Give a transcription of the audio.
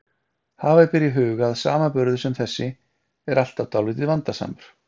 Hafa ber í huga að samanburður sem þessi er alltaf dálítið vandasamur.